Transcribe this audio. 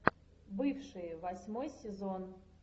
бывшие восьмой сезон